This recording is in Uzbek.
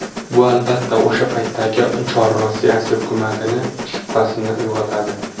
Bu, albatta, o‘sha paytdagi Chor Rossiyasi hukumatining shubhasini uyg‘otadi.